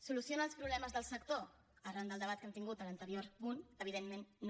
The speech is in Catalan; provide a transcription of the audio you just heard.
soluciona els problemes del sector arran del debat que hem tingut a l’anterior punt evidentment no